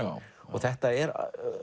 þetta er